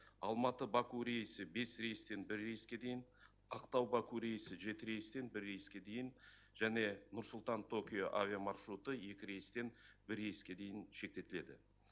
алматы баку рейсі бес рейстен бір рейске дейін ақтау баку рейсі жеті рейстен бір рейске дейін және нұр сұлтан токио авиамаршруты екі рейстен бір рейске дейін шектетіледі